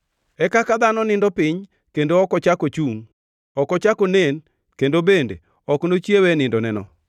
e kaka dhano nindo piny kendo ok ochak ochungʼ; ok ochak onen kendo bende ok nochiewe e nindoneno.